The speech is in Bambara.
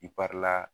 I kari la